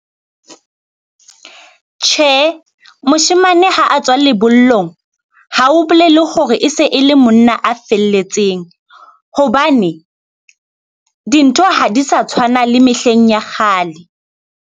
Tjhe, moshemane ha a tswa lebollong ha o bolele hore e se e le monna a felletseng hobane dintho ha di sa tshwana le mehleng ya kgale.